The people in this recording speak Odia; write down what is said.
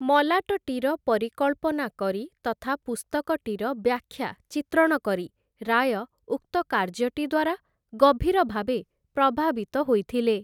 ମଲାଟଟିର ପରିକଳ୍ପନା କରି ତଥା ପୁସ୍ତକଟିର ବ୍ୟାଖ୍ୟା ଚିତ୍ରଣ କରି, ରାୟ ଉକ୍ତ କାର୍ଯ୍ୟଟି ଦ୍ୱାରା ଗଭୀର ଭାବେ ପ୍ରଭାବିତ ହୋଇଥିଲେ ।